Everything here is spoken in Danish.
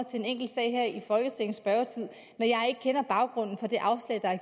til en enkelt sag i folketingets spørgetid når jeg ikke kender baggrunden for det afslag der er